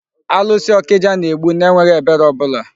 Alụsị ọkịja na-egbu n'enweghị ebere ọbụla.